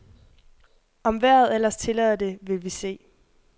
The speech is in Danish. Om vejret ellers tillader det, vil vi se.